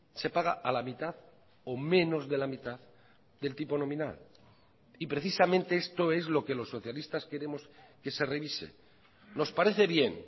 se paga a la mitad o menos de la mitad del tipo nominal y precisamente esto es lo que los socialistas queremos que se revise nos parece bien